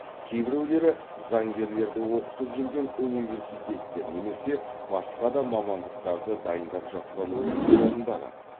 кейбіреулері заңгерлерді оқытып жүрген университеттер немесе басқа да мамандықтарды дайындап жатқан оқу орындары